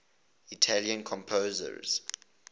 italian composers